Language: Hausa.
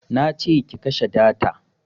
Nace ki kashe data